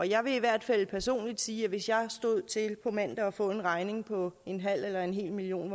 jeg vil i hvert fald personligt sige at hvis jeg stod til på mandag at få en regning på en halv eller en hel million